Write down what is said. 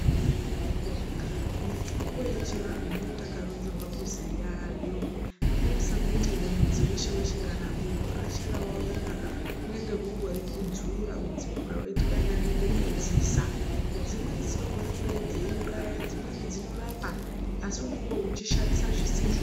Mitombo yechivanhu inoyita yakaronzerwa kuziyayo. Ngatisangoti mudzi weshe weshe, kana bundo reshe rawawona, kunenge kungori kudzura, kudzipura woyiti kwayi ngandende kokodzisa. Dzimweni dzinogona kudayiwuraya, dzimweni dzinorapa. Asi unenge uchishandisa zvisizo.